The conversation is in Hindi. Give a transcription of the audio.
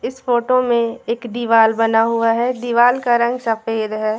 इस फोटो में एक दीवाल बना हुआ है दीवाल का रंग सफेद है।